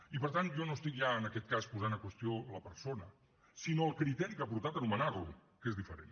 i per tant jo no estic ja en aquest cas posant en qüestió la persona sinó el criteri que ha portat a nomenar lo que és diferent